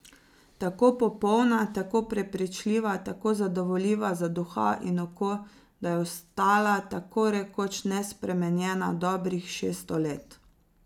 Tako popolna, tako prepričljiva, tako zadovoljiva za duha in oko, da je ostala tako rekoč nespremenjena dobrih šeststo let.